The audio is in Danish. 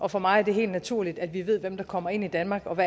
og for mig er det helt naturligt at vi ved hvem der kommer ind i danmark og